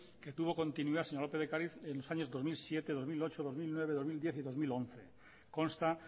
que tuvo continuidad señora lópez de ocariz en los años dos mil siete dos mil ocho dos mil nueve dos mil diez y dos mil once consta